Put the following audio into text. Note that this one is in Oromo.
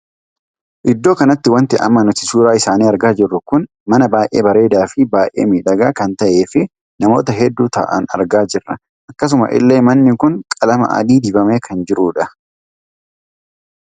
Iddoo kanatti wanti amma nuti suuraa isaanii argaa jirru kun mana baay'ee bareedaa fi baay'ee miidhagaa kan tahee fi namoota hedduu taa'an argaa jirra. akkasuma illee manni kun qalamaa adii dibamee kan jirudha.